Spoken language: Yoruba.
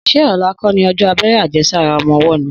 Sẹ ọlà kọ ni òjọ àbẹẹrẹ àjẹsàrá ọmọ wo ni?